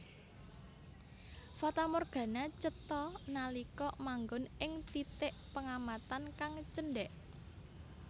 Fatamorgana cetha nalika manggon ing titik pengamatan kang cendhèk